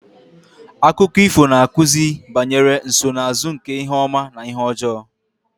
Akụkọ ifo na-akụzi banyere nsonaazụ nke ihe ọma na ihe ọjọọ